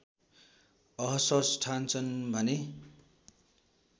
असहज ठान्छन् भने